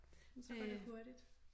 Men så går det hurtigt